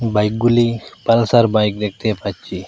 বাইকগুলি Pulsar bike দেখতে পাচ্ছি।